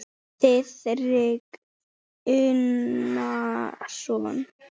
Þiðrik Unason.